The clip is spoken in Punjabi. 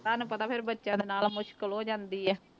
ਤੁਹਾਨੂੰ ਪਤਾ ਫਿਰ ਬੱਚਿਆਂ ਦੇ ਨਾਲ ਮੁਸ਼ਕਲ ਹੋ ਜਾਂਦੀ ਹੈ।